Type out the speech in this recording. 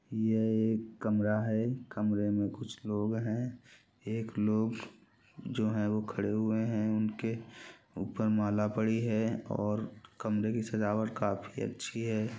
ये एक कमरा हैं कमरे मे कुछ लोग हैं एक लोग जो हैं वो खड़े हुए हैं उन के ऊपर माला पड़ी हुए हैं और कमरे की सजावट काफी अच्छी हैं।